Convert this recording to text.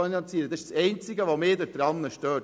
Das ist das Einzige, das mich daran stört.